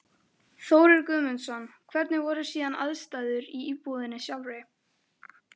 Þórir Guðmundsson: Hvernig voru síðan aðstæður í íbúðinni sjálfri?